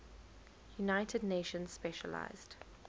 united nations specialized